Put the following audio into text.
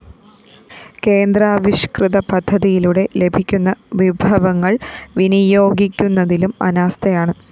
കേന്ദ്രാവിഷ്‌കൃത പദ്ധതിയിലൂടെ ലഭിക്കുന്ന വിഭവങ്ങള്‍ വിനിയോഗിക്കുന്നതിലും അനാസ്ഥയാണ്